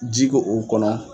Ji ko o kɔnɔ.